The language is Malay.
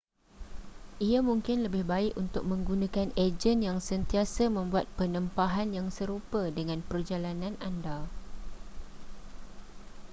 ia mungkin lebih baik untuk menggunakan ejen yang sentiasa membuat penempahan yang serupa dengan perjalanan anda